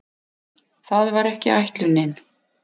Það var ekki ætlunin.